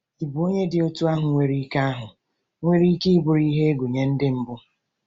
Ịbụ onye dị otú ahụ nwere ike ahụ nwere ike bụrụ ihe egwu nye Ndị mbụ?